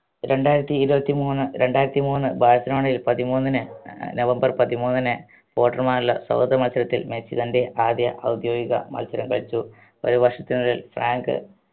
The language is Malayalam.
രണ്ടായിരത്തി ഇരുവത്തി മൂന്ന് രണ്ടായിരത്തി മൂന്ന് ബാഴ്‌സലോണയിൽ പതിമൂന്നിന് ഏർ നവംബർ പതിമൂന്നിന് ഫോട്ടറുമായുള്ള സൗഹൃദ മത്സരത്തിൽ മെസ്സി തൻറെ ആദ്യ ഔദ്യോഗിക മത്സരം കളിച്ചു ഒരു വർഷത്തിനിടയിൽ ഫ്രാങ്ക്